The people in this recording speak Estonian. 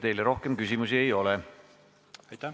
Teile rohkem küsimusi ei ole.